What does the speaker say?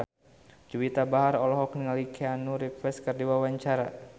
Juwita Bahar olohok ningali Keanu Reeves keur diwawancara